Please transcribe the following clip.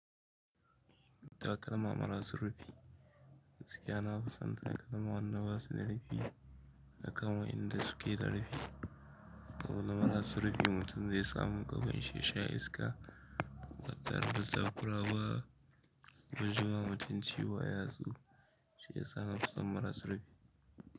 Takalma marasa rufi, gaskiya nafisan takalma wanda basu rufi akan wa inda suke rufi saboda marasa rufi mutum zai samu gaban shi yasha iska, batare da takurawa ba ko jima mutum ciwo ayatsu, shiyasa na fusan maras rufi.